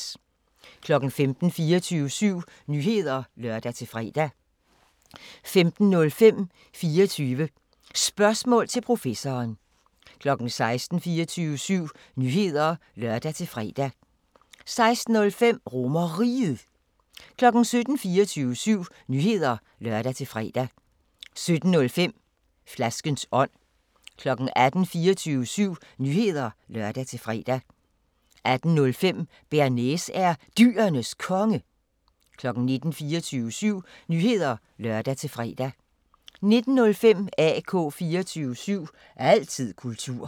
15:00: 24syv Nyheder (lør-fre) 15:05: 24 Spørgsmål til Professoren 16:00: 24syv Nyheder (lør-fre) 16:05: RomerRiget 17:00: 24syv Nyheder (lør-fre) 17:05: Flaskens ånd 18:00: 24syv Nyheder (lør-fre) 18:05: Bearnaise er Dyrenes Konge 19:00: 24syv Nyheder (lør-fre) 19:05: AK 24syv – altid kultur